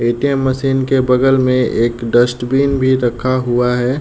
ATM. Machine के बगल में एक डस्टबिन भी रखा हुआ है।